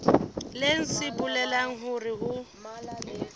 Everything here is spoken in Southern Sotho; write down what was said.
leng se bolelang hore ho